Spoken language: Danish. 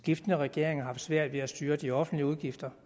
skiftende regeringer har haft svært ved at styre de offentlige udgifter